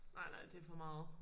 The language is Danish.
Nej nej det for meget